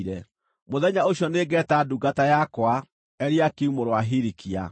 “Mũthenya ũcio nĩngeeta ndungata yakwa, Eliakimu mũrũ wa Hilikia.